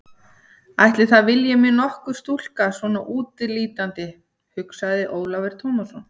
Ætli það vilji mig nokkur stúlka svona útlítandi, hugsaði Ólafur Tómasson.